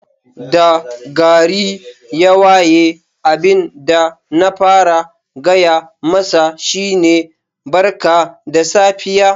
Da gari ya waye abin da na fara gaya masa shi ne Barka da safiya.